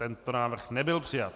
Tento návrh nebyl přijat.